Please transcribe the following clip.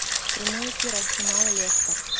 прямой эфир арсенал лестер